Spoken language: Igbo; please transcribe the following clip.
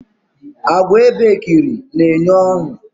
Àgwà ebekiri na enye ọṅụ